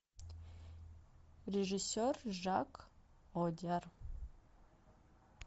режиссер жак одиар